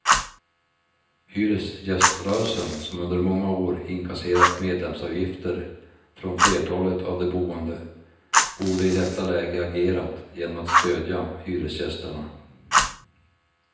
Hyresgäströrelsen, som under många år inkasserat medlemsavgifter från flertalet av de boende, borde i detta läge agerat genom att stödja hyresgästerna.